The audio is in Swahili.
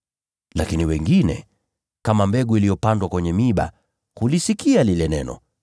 Lakini wengine, kama mbegu iliyopandwa kwenye miiba, hulisikia lile neno;